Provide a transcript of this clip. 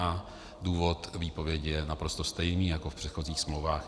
A důvod výpovědi je naprosto stejný jako v předchozích smlouvách.